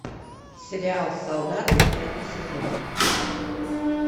сериал солдаты пятый сезон